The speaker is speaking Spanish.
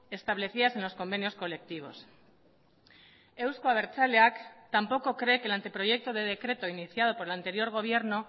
establecidas en los convenios colectivos euzko abertzaleak tampoco cree que el anteproyecto de decreto iniciado por el anterior gobierno